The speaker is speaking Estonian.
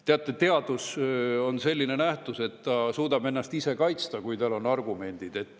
Teate, teadus on selline nähtus, et ta suudab ennast ise kaitsta, kui tal on argumendid.